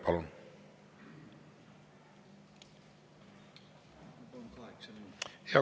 Palun!